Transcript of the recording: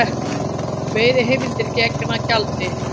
Veiðiheimildir gegn gjaldi